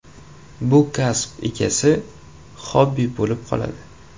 Bu kasb esa xobbi bo‘lib qoladi.